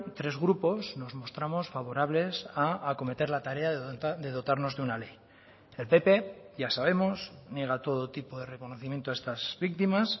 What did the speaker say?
tres grupos nos mostramos favorables a acometer la tarea de dotarnos de una ley el pp ya sabemos niega todo tipo de reconocimiento a estas víctimas